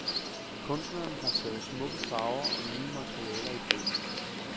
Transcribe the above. Kunstneren har taget smukke farver og nye materialer i brug.